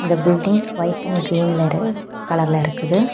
இந்த building white and கிரீன்ல இரு கலர்ல இருக்குது.